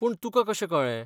पूण तुकां कशें कळ्ळें?